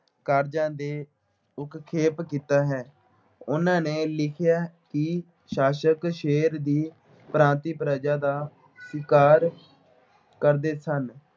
ਕਾਰਜਾਂ ਦੇ ਕੀਤਾ ਹੈ। ਉਨ੍ਹਾਂ ਨੇ ਲਿਖਿਆ ਕਿ ਸ਼ਾਸਕ ਸ਼ੇਰ ਦੀ ਪ੍ਰਜਾ ਦਾ ਕਰਦੇ ਸਨ।